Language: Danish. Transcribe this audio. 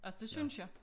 Altså det synes jeg